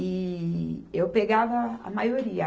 E eu pegava a maioria.